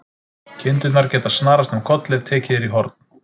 Kindurnar geta snarast um koll ef tekið er í horn.